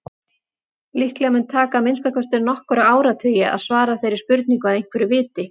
Líklega mun taka að minnsta kosti nokkra áratugi að svara þeirri spurningu að einhverju viti.